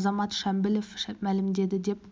азамат шамбілов мәлімдеді деп